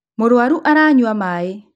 Mũrwaru aranyua maĩ